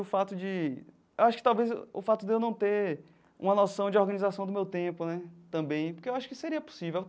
O fato de acho que talvez o fato de eu não ter uma noção de organização do meu tempo né também, porque eu acho que seria possível.